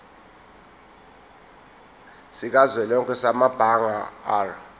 sikazwelonke samabanga r